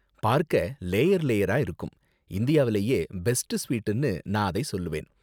பார்க்க லேயர் லேயரா இருக்கும், இந்தியாவுலயே பெஸ்ட் ஸ்வீட்னு நான் அதை சொல்லுவேன்.